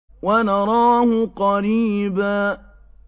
وَنَرَاهُ قَرِيبًا